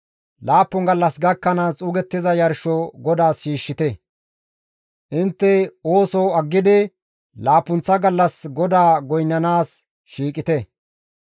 Laappun gallas gakkanaas xuugettiza yarsho GODAAS shiishshite; intte ooso aggidi laappunththa gallas GODAA goynnanaas shiiqite.»